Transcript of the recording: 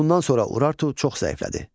Bundan sonra Urartu çox zəiflədi.